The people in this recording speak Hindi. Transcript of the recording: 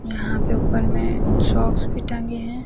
यहाँ पे ऊपर में सॉक्स भी टंगे हैं।